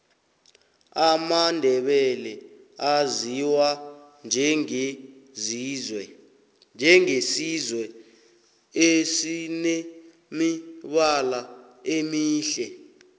amandebele aziwa njenge sizwe esinemibala emihle